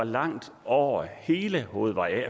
langt over hele hovedvej